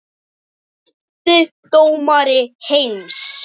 Besti dómari heims?